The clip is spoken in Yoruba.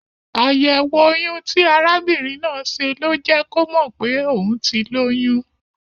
Àyẹ̀wò oyun ti arabìnrin náà ṣe ló jẹ́ kò mọ̀ pé òun ti lóyún.